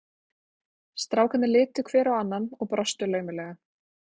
Strákarnir litu hver á annan og brostu laumulega.